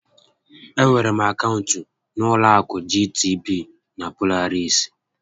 Enwere m akaụntụ na ụlọ akụ GTB na Polaris